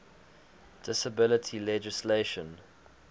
disability legislation